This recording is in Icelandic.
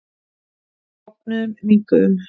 Við bognuðum, minnkuðum.